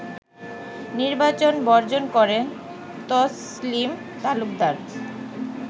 নির্বাচন বর্জন করেন তছলিম তালুকদার